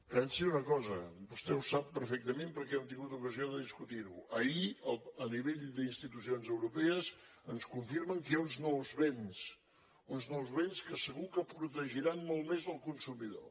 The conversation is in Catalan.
pensi una cosa vostè ho sap perfectament perquè hem tingut ocasió de discutir ho ahir a nivell d’institucions europees ens confirmen que hi ha uns nous vents uns nous vents que segur que protegiran molt més el consumidor